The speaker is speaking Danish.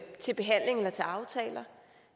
til behandling eller til aftaler